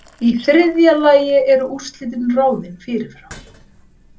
Í þriðja lagi eru úrslitin ráðin fyrirfram.